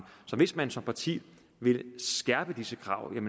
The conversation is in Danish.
så hvis man som parti vil skærpe disse krav er